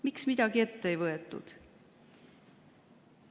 Miks midagi ette ei võetud?